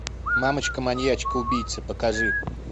мамочка маньячка убийца покажи